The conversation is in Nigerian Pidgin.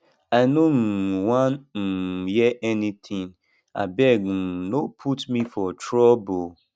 i no um wan um hear anything abeg um no put me for trouble